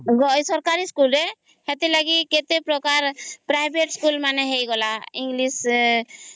ସରକାରୀ school ରେ ସେ ଥି ଲାଗି କେତେ ପ୍ରକାର ପ୍ରାଇଭେଟ ସ୍କୁଲ ହେଇ ଗଲା ଇଂଲିଶ